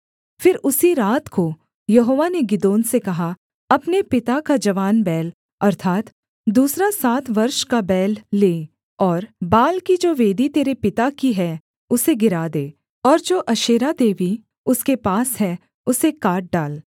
फिर उसी रात को यहोवा ने गिदोन से कहा अपने पिता का जवान बैल अर्थात् दूसरा सात वर्ष का बैल ले और बाल की जो वेदी तेरे पिता की है उसे गिरा दे और जो अशेरा देवी उसके पास है उसे काट डाल